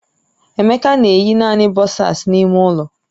Emeka na eyi naanị bọsas n'ime ụlọ